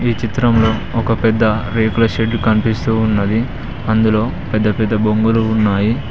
ఈ చిత్రంలో ఒక పెద్ద రేకుల షెడ్ కనిపిస్తూ ఉన్నది అందులో పెద్ద పెద్ద బొంగులు ఉన్నాయి.